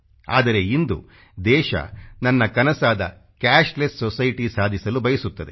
ಆದರೆ ಇಂದು ದೇಶ ನನ್ನ ಕನಸಾದ ಕ್ಯಾಶ್ಲೆಸ್ ಸೊಸೈಟಿ ಸಾಧಿಸಲು ಬಯಸುತ್ತದೆ